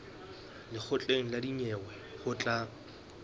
lekgotleng la dinyewe ho tla